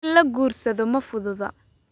In la guursado ma fududa